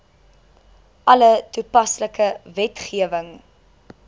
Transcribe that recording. alle toepaslike wetgewing